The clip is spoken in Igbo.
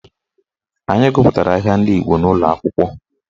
Anyị gụpụtara ahịa ndị Igbo n'ụlọakwụkwọ